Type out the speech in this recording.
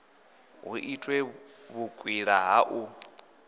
hu itwe vhukwila ha u